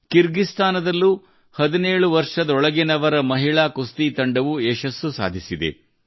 ಕಿರ್ಗಿಸ್ತಾನದಲ್ಲೂ ಹದಿನೇಳು ವರ್ಷದೊಳಗಿನವರ ಮಹಿಳಾ ಕುಸ್ತಿ ತಂಡವು ಯಶಸ್ಸು ಸಾಧಿಸಿದೆ